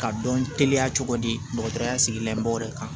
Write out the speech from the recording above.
Ka dɔn teliya cogo di dɔgɔtɔrɔya sigilamɔgɔw de kan